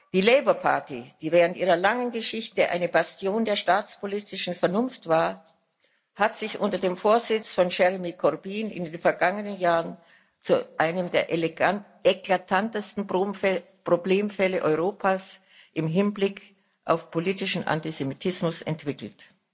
Die Labour Party, die während ihrer langen Geschichte eine Bastion der staatspolitischen Vernunft war, hat sich unter dem Vorsitz von Jeremy Corbyn in den vergangenen Jahren zu einem der eklatantesten Problemfälle Europas im Hinblick auf politischen Antisemitismus entwickelt.